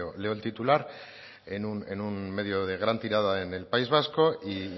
leo el titular en un medio de gran tirada en el país vasco y